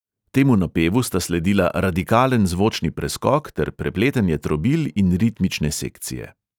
Temu napevu sta sledila radikalen zvočni preskok ter prepletanje trobil in ritmične sekcije.